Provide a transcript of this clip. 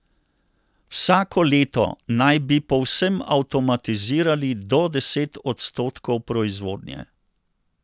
Vsako leto naj bi povsem avtomatizirali do deset odstotkov proizvodnje.